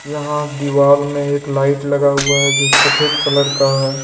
यहां दीवाल में एक लाइट लगा हुआ है जो सफेद कलर का है।